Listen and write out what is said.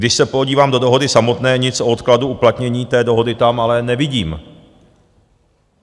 Když se podívám do dohody samotné, nic o odkladu uplatnění té dohody tam ale nevidím.